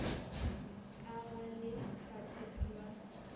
ka ba le bathekgi ba